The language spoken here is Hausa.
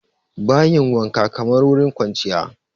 Bayin wankan kamar wurin kwanciya